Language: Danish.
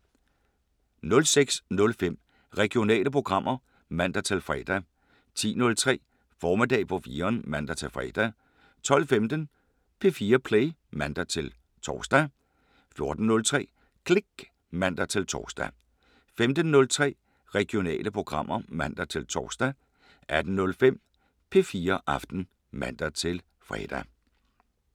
06:05: Regionale programmer (man-fre) 10:03: Formiddag på 4'eren (man-fre) 12:15: P4 Play (man-tor) 14:03: Klik (man-tor) 15:03: Regionale programmer (man-tor) 18:05: P4 Aften (man-fre)